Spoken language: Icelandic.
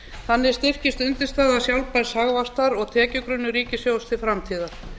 þannig styrkist undirstaða sjálfbærs hagvaxtar og tekjugrunnur ríkissjóðs til framtíðar